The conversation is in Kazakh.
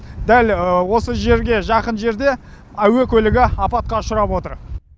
дәл осы жерге жақын жерде әуе көлігі апатқа ұшырап отыр